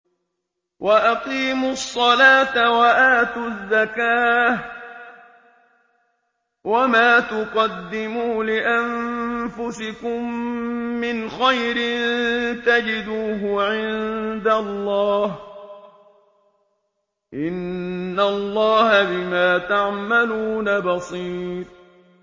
وَأَقِيمُوا الصَّلَاةَ وَآتُوا الزَّكَاةَ ۚ وَمَا تُقَدِّمُوا لِأَنفُسِكُم مِّنْ خَيْرٍ تَجِدُوهُ عِندَ اللَّهِ ۗ إِنَّ اللَّهَ بِمَا تَعْمَلُونَ بَصِيرٌ